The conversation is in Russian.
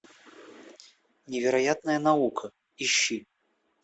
невероятная наука ищи